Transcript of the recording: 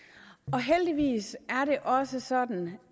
heldigvis er det også sådan